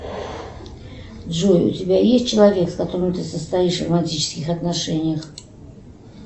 джой у тебя есть человек с которым ты состоишь в романтических отношениях